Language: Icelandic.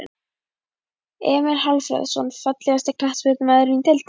Emil Hallfreðsson Fallegasti knattspyrnumaðurinn í deildinni?